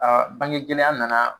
Aa bange gɛlɛya nana